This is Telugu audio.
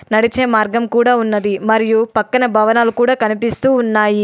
నడిచే మార్గం కూడా ఉన్నది. మరియు పక్కన భవనాలు కూడా కనిపిస్తూ ఉన్నాయి.